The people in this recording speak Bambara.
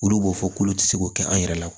Olu b'o fɔ k'olu ti se k'o kɛ an yɛrɛ la